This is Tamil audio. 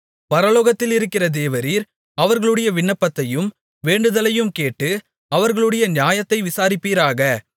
பரலோகத்தில் இருக்கிற தேவரீர் அவர்களுடைய விண்ணப்பத்தையும் வேண்டுதலையும் கேட்டு அவர்களுடைய நியாயத்தை விசாரிப்பீராக